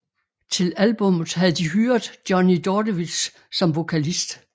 Til albummet havde de hyret Johnny Dordevic som vokalist